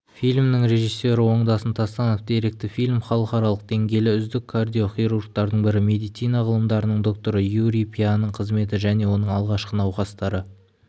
фильмнің режиссері оңдасын тастанов деректі фильм халықаралық деңгейлі үздік кардиохирургтардың бірі медицина ғылымдарының докторы юрий пяның қызметі және оның алғашқы науқастары